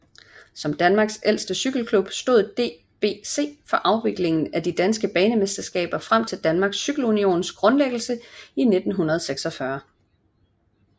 Som Danmarks ældste cykleklub stod DBC for afviklingen af de danske banemesterskaber frem til Danmarks Cykle Unions grundlæggelse i 1946